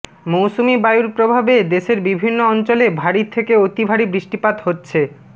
মৌসুমি বায়ুর প্রভাবে দেশের বিভিন্ন অঞ্চলে ভারী থেকে অতি ভারী বৃষ্টিপাত হচ্ছে